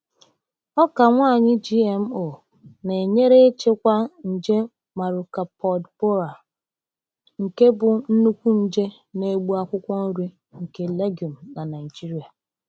Ọka nwaanyị GMO na-enyere ịchịkwa nje Maruca pod borer, nke bụ nnukwu nje na-egbu akwụkwọ nri nke legume na Naijiria.